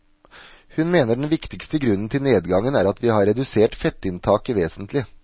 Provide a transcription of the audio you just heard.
Hun mener den viktigste grunnen til nedgangen er at vi har redusert fettinntaket vesentlig.